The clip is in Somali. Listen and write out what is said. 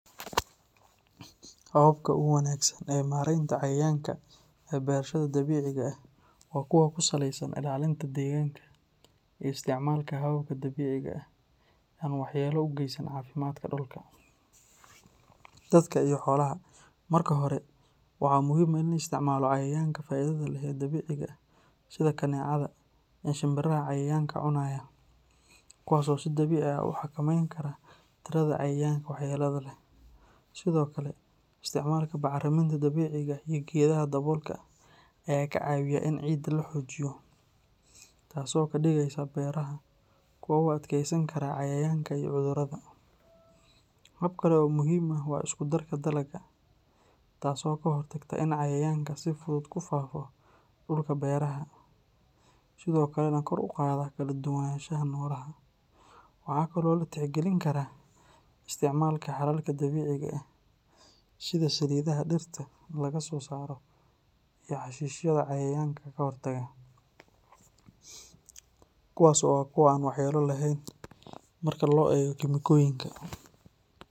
Hababka ugu wanaagsan ee mareynta cayayanka ee beerashada dabiiciga ah waa kuwo ku saleysan ilaalinta deegaanka iyo isticmaalka hababka dabiiciga ah ee aan waxyeello u geysan caafimaadka dhulka, dadka iyo xoolaha. Marka hore, waxaa muhiim ah in la isticmaalo cayayaanka faa’iidada leh ee dabiiciga ah sida kaneecada iyo shinbiraha cayayaanka cunaya, kuwaas oo si dabiici ah u xakameyn kara tirada cayayaanka waxyeelada leh. Sidoo kale, isticmaalka bacriminta dabiiciga ah iyo geedaha daboolka ah ayaa ka caawiya in ciidda la xoojiyo, taasoo ka dhigaysa beeraha kuwo u adkeysan kara cayayaanka iyo cudurrada. Hab kale oo muhiim ah waa isku-darka dalagga, taas oo ka hortagta in cayayaanka si fudud u ku faafo dhulka beeraha, sidoo kalena kor u qaada kala duwanaanshaha noolaha. Waxaa kale oo la tixgelin karaa isticmaalka xalalka dabiiciga ah sida saliidaha dhirta laga soo saaro iyo xashiishyada cayayaanka ka hortaga, kuwaas oo ah kuwo aan waxyeello lahayn marka loo eego kiimikooyinka.